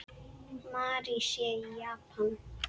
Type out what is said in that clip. Mary sé í Japan.